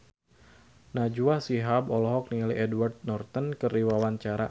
Najwa Shihab olohok ningali Edward Norton keur diwawancara